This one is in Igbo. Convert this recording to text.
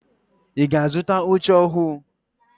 Ị ga-azụta oche ọhụụ?